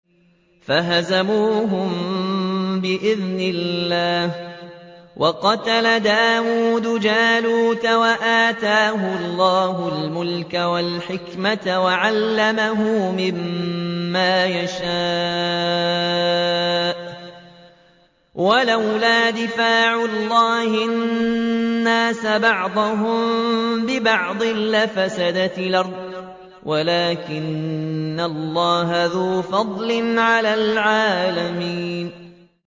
فَهَزَمُوهُم بِإِذْنِ اللَّهِ وَقَتَلَ دَاوُودُ جَالُوتَ وَآتَاهُ اللَّهُ الْمُلْكَ وَالْحِكْمَةَ وَعَلَّمَهُ مِمَّا يَشَاءُ ۗ وَلَوْلَا دَفْعُ اللَّهِ النَّاسَ بَعْضَهُم بِبَعْضٍ لَّفَسَدَتِ الْأَرْضُ وَلَٰكِنَّ اللَّهَ ذُو فَضْلٍ عَلَى الْعَالَمِينَ